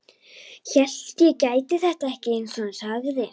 Hélt ég gæti þetta ekki, einsog hann sagði.